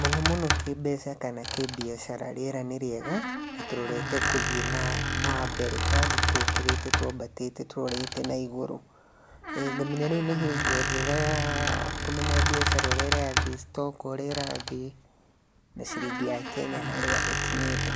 mũno mũno kĩmbeca kana kĩ mbiacara rĩra nĩ rĩega nantũrorete kũthiĩ na na mbere, tũrathi tũkĩrĩte twambatĩte tũrorete na igũrũ. Ĩĩ ngamenya rĩu nĩ hingo njega ya kũmenya mbiacara ũrĩa ĩrathiĩ, citoko ũrĩa ĩrathiĩ na ciringi ya Kenya harĩa ĩkinyĩte.